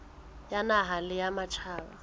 ya naha le ya matjhaba